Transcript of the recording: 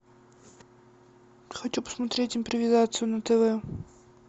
хочу посмотреть импровизацию на тв